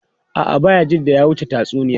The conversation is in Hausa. A’a, Bayajidda ya wuce tatsuniya.